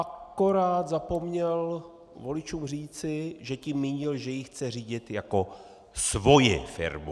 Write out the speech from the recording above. Akorát zapomněl voličům říci, že tím mínil, že jej chce řídit jako svoji firmu!